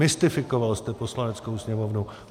Mystifikoval jste Poslaneckou sněmovnu.